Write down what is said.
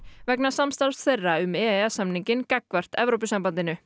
vegna samstarfs þeirra um e e s samninginn gagnvart Evrópusambandinu